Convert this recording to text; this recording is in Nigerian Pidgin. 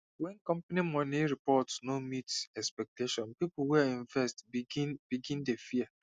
when company money report no meet expectation people wey invest begin begin dey fear